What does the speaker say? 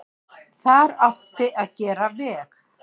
Þar átti að gera veg.